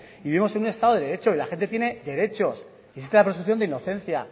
vivimos en un estado de derecho y la gente tiene derechos y existe la presunción de inocencia